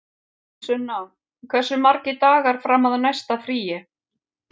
Sunna, hversu margir dagar fram að næsta fríi?